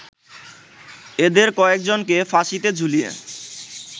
এদের কয়েকজনকে ফাঁসিতে ঝুলিয়ে